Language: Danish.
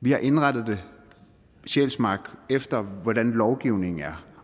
vi har indrettet sjælsmark efter hvordan lovgivningen er